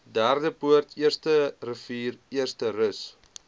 derdepoort eersterivier eersterus